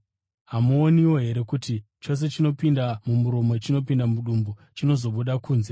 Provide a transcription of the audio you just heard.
Hamuoniwo here kuti chose chinopinda mumuromo chinopinda mudumbu chichizobuda kunze!